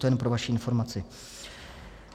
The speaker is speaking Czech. To jen pro vaši informaci.